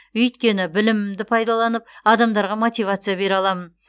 өйткені білімімді пайдаланып адамдарға мотивация бере аламын